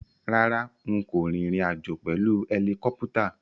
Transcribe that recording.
Rárá, n kò rìnrìn àjò pèlu ẹlikọ́pútà.